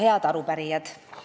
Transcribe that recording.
Head arupärijad!